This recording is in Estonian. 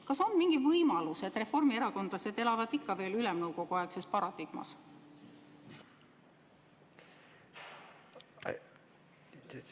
Kas on mingi võimalus, et reformierakondlased elavad ikka veel Ülemnõukogu-aegses paradigmas?